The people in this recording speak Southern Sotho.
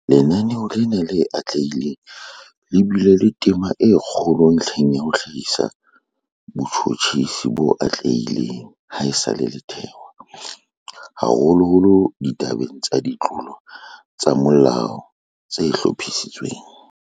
Lenaneo lena le atlehileng le bile le tema e kgolo ntlheng ya ho hlahisa botjhutjhisi bo atlehileng ha esale le thewa, haholoholo ditabeng tsa ditlolo tsa molao tse hlophisitsweng.